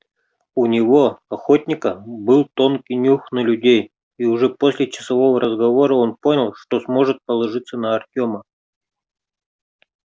у него охотника был тонкий нюх на людей и уже после часового разговора он понял что сможет положиться на артёма